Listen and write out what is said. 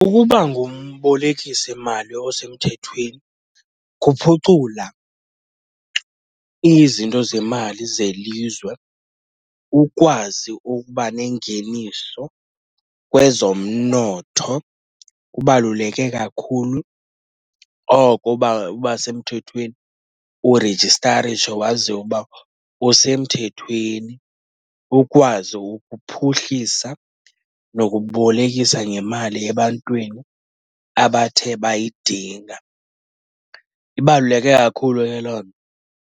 Ukuba ngumbolekisimali osemthethweni kuphucula izinto zemali zelizwe, ukwazi ukuba nengeniso kwezomnotho. Kubaluleke kakhulu oko uba, uba semthethweni urejistarishe, waziwe ukuba usemthethweni. Ukwazi ukuphuhlisa nokubolekisa ngemali ebantwini abathe bayidinga. Ibaluleke kakhulu ke loo nto.